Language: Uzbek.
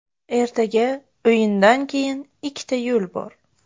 Ertaga o‘yindan keyin ikkita yo‘l bor.